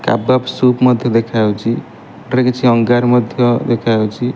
Cardboard ସୁପ ମଧ୍ୟ ଦେଖାଯାଉଛି ଏଠାରେ କିଛି ଅଙ୍ଗାର ମଧ୍ୟ ଦେଖାଯାଉଛି।